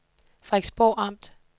Frederiksborg Amt